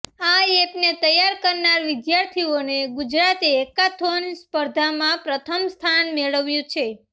આ એપને તૈયાર કરનાર વિદ્યાર્થીઓને ગુજરાત હેકાથોન સ્પર્ધામાં પ્રથમ સ્થાન મેળવ્યું છે